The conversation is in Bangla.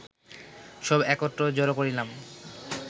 সব একত্র জড় করিলাম